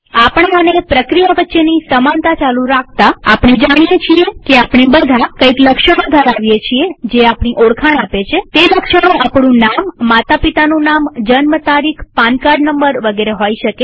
આપણા અને પ્રક્રિયા વચ્ચેની સમાનતા ચાલુ રાખતાઆપણે જાણીએ છીએ કે આપણે બધા કઈક લક્ષણો ધરાવી છીએ જે આપણી ઓળખાણ આપે છેતે લક્ષણો આપણું નામમાતા પિતાનું નામજન્મ તારીખપાન કાર્ડ નંબરવગેરે હોઈ શકે